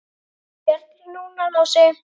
Björn, núna Lási.